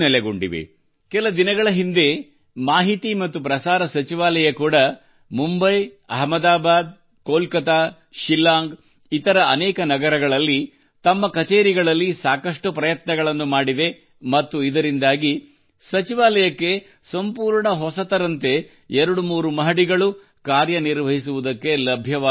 ಕೆಲ ದಿನಗಳ ಹಿಂದೆ ಮಾಹಿತಿ ಮತ್ತು ಪ್ರಸಾರ ಸಚಿವಾಲಯ ಕೂಡಾ ಮುಂಬಯಿ ಅಹಮದಾಬಾದ್ ಕೊಲ್ಕತ್ತಾ ಶಿಲ್ಲಾಂಗ್ ಇತರ ಅನೇಕ ನಗರಗಳಲ್ಲಿ ತಮ್ಮ ಕಛೇರಿಗಳಲ್ಲಿ ಸಾಕಷ್ಟು ಪ್ರಯತ್ನಗಳನ್ನು ಮಾಡಿದೆ ಮತ್ತು ಇದರಿಂದಾಗಿ ಸಚಿವಾಲಯಕ್ಕೆ ಸಂಪೂರ್ಣ ಹೊಸದರಂತೆ ಎರಡು ಮೂರು ಮಹಡಿಗಳು ಕಾರ್ಯ ನಿರ್ವಹಿಸುವುದಕ್ಕೆ ಲಭ್ಯವಾದಂತಾಗಿವೆ